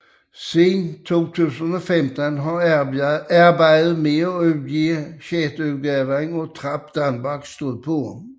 Siden 2015 har arbejdet med udgive sjetteudgaven af Trap Danmark stået på